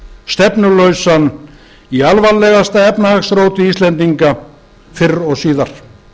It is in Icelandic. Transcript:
hann úrræðalausan stefnulausan í alvarlegasta efnahagsróti íslendinga fyrr og síðar